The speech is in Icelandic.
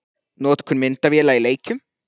Notkun myndavéla í leikjum?